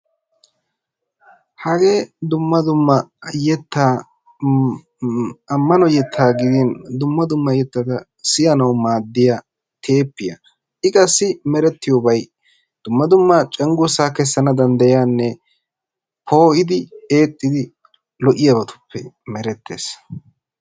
Hagee dumma dumma yettaa ammano yettaa gidin dumma dumma yettata siyanawu maaddiya teeppiya. I qassi merettiyobayi dumma dumma cenggurssaa kessana danddayiyanne poo"idi eexxidi lo"iyabatuppe merettes.